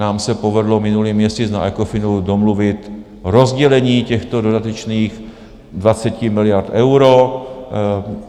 Nám se povedlo minulý měsíc na ECOFINu domluvit rozdělení těchto dodatečných 20 miliard euro.